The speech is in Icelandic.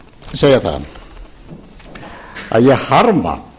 segja það að ég harma